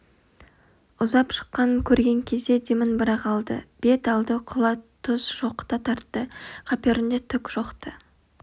ұзап шыққанын көрген кезде демін бір-ақ алды бет алды құла түз шоқыта тартты қаперінде түк жоқ-ты